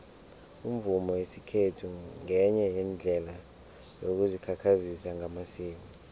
umvumo wesikhethu ngenye yeendlela yokuzikhakhazisa ngamasiko